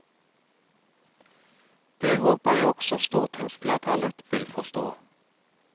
Det håper jeg også stortingsflertallet vil forstå.